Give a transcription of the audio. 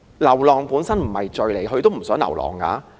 流浪本身並不是罪，牠也不想流浪。